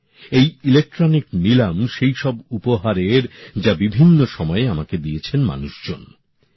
এই ইলেকট্রনিক নীলাম সেই সব উপহারের যা বিভিন্ন সময়ে মানুষজন আমাকে দিয়েছেন